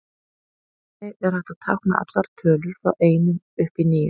Þannig er hægt að tákna allar tölur frá einum upp í níu.